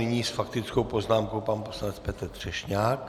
Nyní s faktickou poznámkou pan poslanec Petr Třešňák.